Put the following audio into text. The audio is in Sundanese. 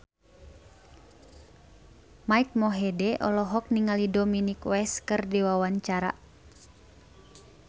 Mike Mohede olohok ningali Dominic West keur diwawancara